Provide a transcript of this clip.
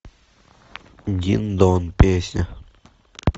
дин дон песня